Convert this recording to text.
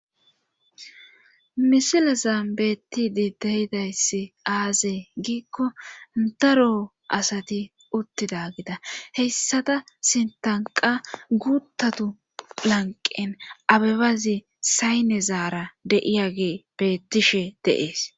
Misila zambettidi deyidayssi aazee giikko ndaro asati uttida gida heyssada sintanqa guuttatu lanqen abebazi sayne zaara deiya ge beettishe dees.